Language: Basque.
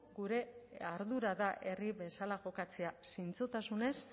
gure ardura da herri bezala jokatzea zintzotasunez